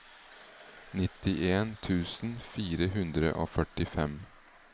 nittien tusen fire hundre og førtifem